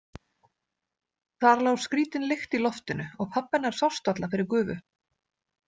Þar lá skrítin lykt í loftinu og pabbi hennar sást varla fyrir gufu.